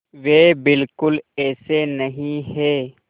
वे बिल्कुल ऐसे नहीं हैं